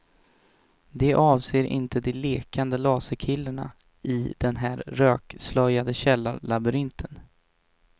De avser inte de lekande laserkillarna i den här rökslöjade källarlabyrinten.